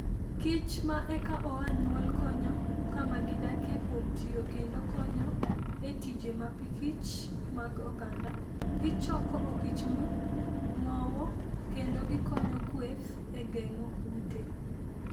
Kich ma eka oa nyuol konyo kama gidakie kuom tiyo kendo konyo e tije mapikich mag oganda. Gichoko okichmb ng'owo, kendo gikonyo kweth e geng'o kute.